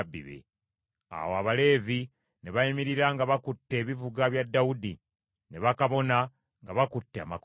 Awo Abaleevi ne bayimirira nga bakutte ebivuga bya Dawudi, ne bakabona nga bakutte amakondeere.